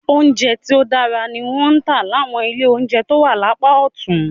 Oúnjẹ tó dáa ni wọ́n ń tà láwọn ilé oúnjẹ tó wà lápá ọ̀tún